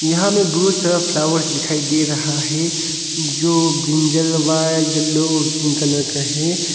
यहां में बहुत सारा फ्लावर्स दिखाई दे रहा है जो ब्रिंजलवाज येलो और ग्रीन कलर का है।